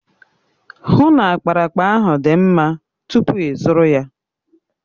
Hụ na ákpáraàkpà ahụ dị mma tupu ịzụrụ ya!